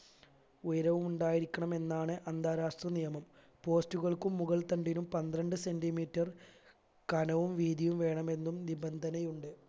ഉയരവുമുണ്ടായിരിക്കണമെന്നാണ് അന്താരാഷ്ട്ര നിയമം post കൾക്കും മുകൾതണ്ടിനും പന്ത്രണ്ട് centimetre കനവും വീതിയും വേണമെന്നും നിബന്ധനയുണ്ട്